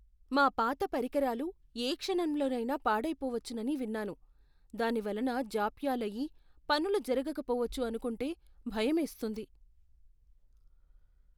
మా పాత పరికరాలు ఏ క్షణంలోనైనా పాడైపోవచ్చని విన్నాను. దాని వలన జాప్యాలయ్యి, పనులు జరకపోవచ్చు అనుకుంటే భయమేస్తుంది.